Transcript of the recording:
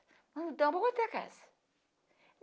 Não dão para comprar a casa.